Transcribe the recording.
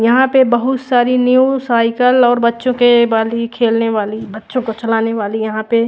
यहाँ पे बहत सारी न्यू साइकेल और बच्चो के बाली खेल ने वाली बच्चो को चलानी वाली यहाँ पे--